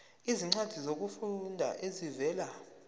izincwadi zokufunda ezivela